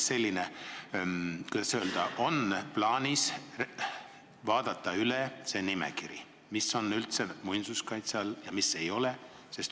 Palun öelge, kas on plaanis vaadata üle see nimekiri, mis on üldse muinsuskaitse all ja mis ei ole.